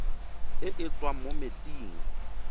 e e tswang mo metsing